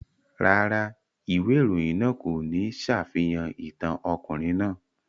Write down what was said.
Rárá, ìwé ìròyìn náà kò ní ṣàfihàn ìtàn ọkùnrin náà.